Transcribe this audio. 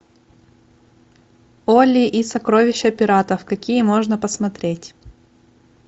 олли и сокровища пиратов какие можно посмотреть